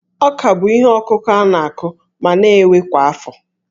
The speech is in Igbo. Ọ́kà bụ ihe ọkụkụ a na-akụ ma na-ewe kwa afọ